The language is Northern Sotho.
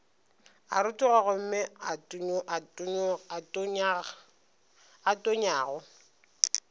a rotoga gomme a tonyago